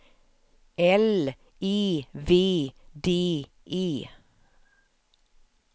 L E V D E